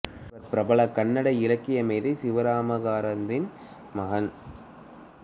இவர் பிரபல கன்னட இலக்கிய மேதை சிவராம காரந்தின் மகன்